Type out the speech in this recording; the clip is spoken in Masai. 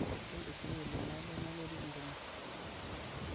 itu esuwarli naado nalotie entumo